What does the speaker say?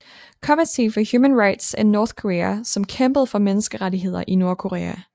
Committee for Human Rights in North Korea som kæmpede for menneskerettigheder i Nordkorea